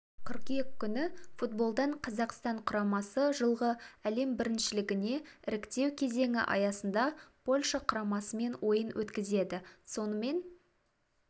қыркүйек күні футболдан қазақстан құрамасы жылғы әлем біріншілігіне іріктеу кезеңі аясында польша құрамасымен ойын өткізеді сонымен